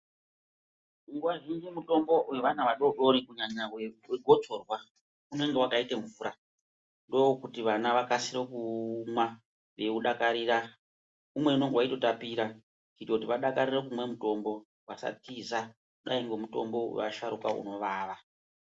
Nguva zhinji mutombo vevana vadoko kunyanya vegotsorwa unenge vakaita mvura. Ndokuti vana vakasire kuumwa veiudakarira umweni unonga veitotapora. Kuitira kuti vadakarire kumwa mutombo vasatiza kudai ngemutombo vevasharuka unovava.